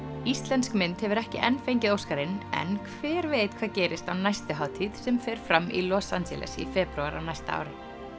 íslensk mynd hefur ekki enn fengið Óskarinn en hver veit hvað gerist á næstu hátíð sem fer fram í Los Angeles í febrúar á næsta ári